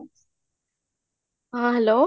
ହଁ, hello